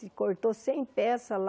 Se cortou cem peças lá,